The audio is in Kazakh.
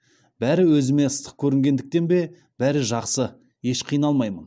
бәрі өзіме ыстық көрінгендіктен бе бәрі жақсы еш қиналмаймын